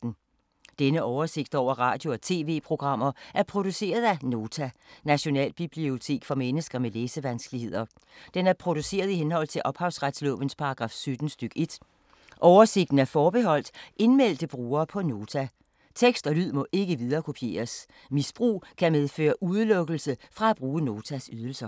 Denne oversigt over radio og TV-programmer er produceret af Nota, Nationalbibliotek for mennesker med læsevanskeligheder. Den er produceret i henhold til ophavsretslovens paragraf 17 stk. 1. Oversigten er forbeholdt indmeldte brugere på Nota. Tekst og lyd må ikke viderekopieres. Misbrug kan medføre udelukkelse fra at bruge Notas ydelser.